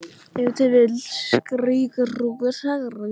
Ef til vill skýrir það af hverju maðurinn lætur svona.